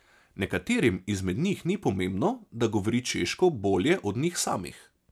Nekaterim izmed njih ni pomembno, da govori češko bolje od njih samih.